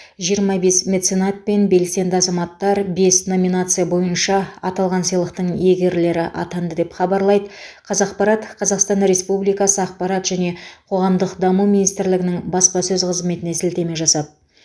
жиырма бес меценат пен белсенді азаматтар бес номинация бойынша аталған сыйлықтың иегерлері атанды деп хабарлайды қазақпарат қазақстан республикасы ақпарат және қоғамдық даму министрлігінің баспасөз қызметіне сілтеме жасап